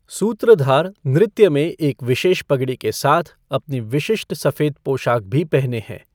सूत्रधार नृत्य में एक विशेष पगड़ी के साथ अपनी विशिष्ट सफेद पोशाक भी पहने है।